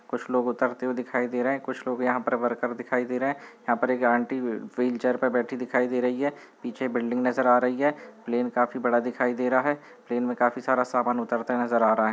कुछ लोग उतरते हुए दिखाई दे रहे हैं कुछ लोग यहाँ पर वर्कर दिखाई दे रहे हैं यहाँ पर एक आंटी व्हीलचेयर पर बैठी दिखाई दे रही है पीछे बिल्डिंग नजर आ रही है प्लेन काफी बड़ा दिखाई दे रहा है प्लेन में काफी सारा सामान उतरते नजर आ रहा हैं।